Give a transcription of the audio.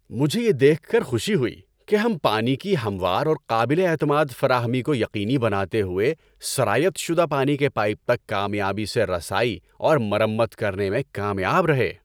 مجھے یہ دیکھ کر خوشی ہوئی کہ ہم پانی کی ہموار اور قابل اعتماد فراہمی کو یقینی بناتے ہوئے سرایت شدہ پانی کے پائپ تک کامیابی سے رسائی اور مرمت کرنے میں کامیاب رہے۔